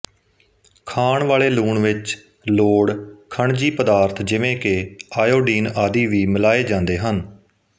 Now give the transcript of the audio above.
ਖਾਣ ਵਾਲੇ ਲੂਣ ਵਿਚ ਲੋੜ ਖਣਜੀ ਪਦਾਰਥ ਜਿਵੇਂ ਕਿ ਆਇਓਡੀਨ ਆਦਿ ਵੀ ਮਿਲਾਏ ਜਾਂਦੇ ਹਨ